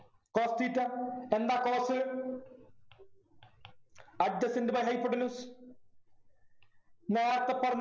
cos theta എന്താ adjacent by hypotenuse നേരത്തെ പറഞ്ഞ